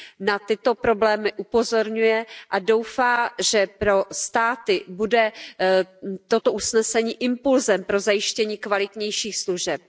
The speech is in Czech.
Na tyto problémy upozorňuje a doufá, že pro státy bude toto usnesení impulzem pro zajištění kvalitnějších služeb.